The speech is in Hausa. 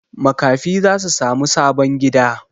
Makafi za su sami sabon gida.